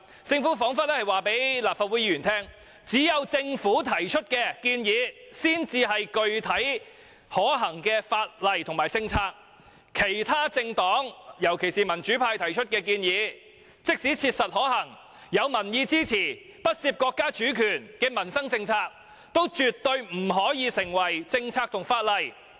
政府彷彿是要告訴立法會議員，只有政府提出的建議才是具體可行的法例和政策，其他政黨提出的建議，即使切實可行且有民意支持，亦不涉及國家主權的民生政策，但也絕對不能夠成為政策和法例。